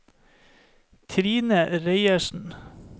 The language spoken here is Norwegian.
Trine Reiersen